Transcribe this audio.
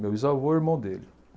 Meu bisavô e o irmão dele.